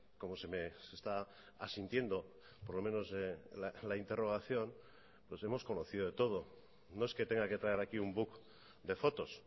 como se está asintiendo por lo menos la interrogación pues hemos conocido de todo no es que tenga que traer aquí un book de fotos